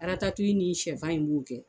Aratatu in nin sɛfan in b'o kɛ.